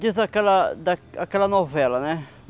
Diz aquela da aquela novela, né?